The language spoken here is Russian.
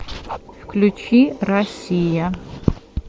включи россия